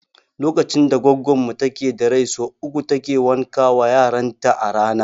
Lokacin da goggon mu take da rai sau uku take wanka wa yaran ta a rana